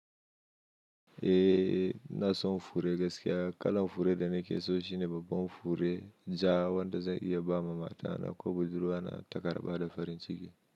Eh na so in fure gaskiya, kalan fure da nake so shine babban fure ja wanda zan iya ba wa matana ko budurwa na takarɗa da farin ciki.